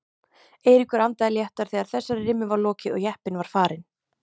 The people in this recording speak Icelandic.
Eiríkur andaði léttar þegar þessari rimmu var lokið og jeppinn var farinn.